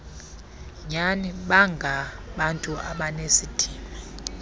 nyani bangabantu abanesidima